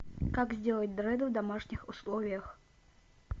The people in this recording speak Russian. как сделать дреды в домашних условиях